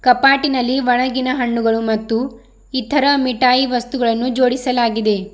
ಕಪಾಟಿನಲ್ಲಿ ಒಣಗಿನ ಹಣ್ಣುಗಳು ಮತ್ತು ಇತರ ಮಿಟಾಯಿ ವಸ್ತುಗಳನ್ನು ಜೋಡಿಸಲಾಗಿದೆ.